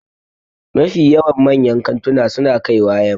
Mafi yawan manyan kantuna su na kaiwa yamma